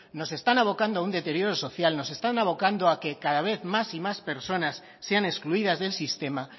nos están avocando a un deterioro social nos están avocando a que cada vez más y más personas sean excluidas del sistema